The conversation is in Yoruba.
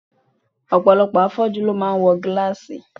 Ọ̀pọ̀lọpọ̀ afọ́jú ló máa ń wọ gílàsì